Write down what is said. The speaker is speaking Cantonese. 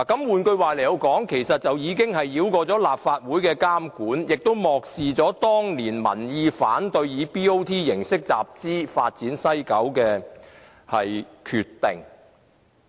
換句話說，這做法可繞過立法會的監管，亦漠視了當年民意反對以 BOT 形式集資發展西九的決定。